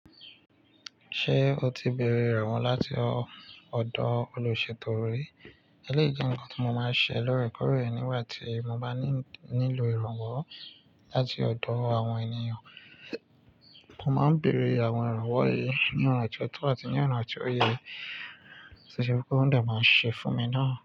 Ṣé o ti béèrè ìrànwọ́ láti ọ̀dọ̀ olùṣètò ré? Eléyìí jẹ́ nkan tí mo máa ń ṣe lóòrèkóòrè nígbà tí mo bá nílò ìrànwọ́ láti ọ̀dọ̀ àwọn ènìyàn. Mo máa ń bèèrè àwọn ìrànwọ́ yìí ní ọ̀nà tó tọ́ àti ní ọ̀nà tó yẹ, ṣéṣé pé ó dà máa ń ṣe fún mi náà.